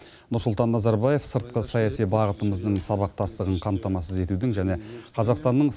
нұрсұлтан назарбаев сыртқы саяси бағытымыздың сабақтастығын қамтамасыз етудің және қазақстанның